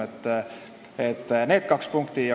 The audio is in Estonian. Need on esimesed kaks punkti.